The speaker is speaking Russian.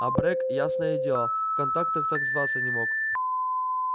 абрек ясное дело в контактах так зваться не мог